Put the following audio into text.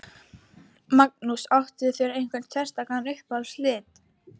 Magnús: Áttu þér einhverja sérstaka uppáhalds liti?